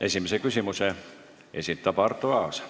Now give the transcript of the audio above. Esimese küsimuse esitab Arto Aas.